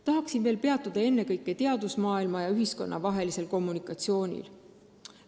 Tahan veel peatuda teadusmaailma ja ühiskonna vahelisel kommunikatsioonil.